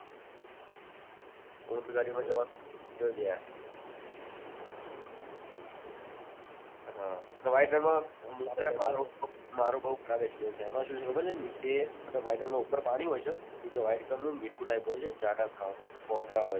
ઊંટ ગાડીમાં જવાનું ત્યો ગયા ત્યો white રણ મા મારો બહુ ખરાબ experience છે એમ આસું છે ખબર છે નીચે white રણ મા ઉપર પાણી હોય છે નીચે white રંગ નું મીઠું type હોય છે જાડાસ મા કોકરા હોય છે